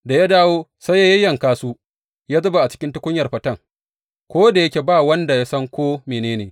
Da ya dawo, sai ya yayyanka su ya zuba a cikin tukunyar faten, ko da yake ba wanda ya san ko mene ne.